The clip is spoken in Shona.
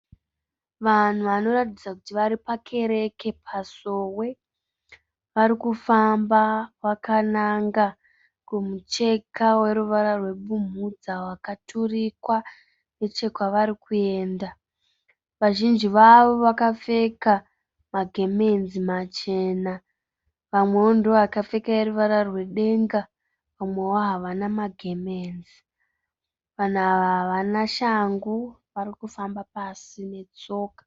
Vanhu vanoratidza kuti vari pakereke pasowe. Vari kufamba vakananga kumucheka weruvara rwebumhudza wakaturikwa nechekwavari kuenda. Vazhinji vavo vakapfeka magemenzi machena, vamwevo ndivo vakapfeka eruvara rwedenga, vamwevo havana magemenzi. Vanhu ava havana shangu. Vari kufamba pasi netsoka.